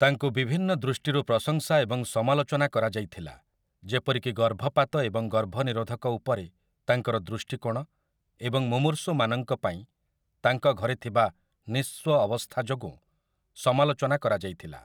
ତାଙ୍କୁ ବିଭିନ୍ନ ଦୃଷ୍ଟିରୁ ପ୍ରଶଂସା ଏବଂ ସମାଲୋଚନା କରାଯାଇଥିଲା, ଯେପରିକି ଗର୍ଭପାତ ଏବଂ ଗର୍ଭନିରୋଧକ ଉପରେ ତାଙ୍କର ଦୃଷ୍ଟିକୋଣ, ଏବଂ ମୁମୂର୍ଷୁମାନଙ୍କ ପାଇଁ ତାଙ୍କ ଘରେ ଥିବା ନିଃସ୍ୱ ଅବସ୍ଥା ଯୋଗୁଁ ସମାଲୋଚନା କରାଯାଇଥିଲା ।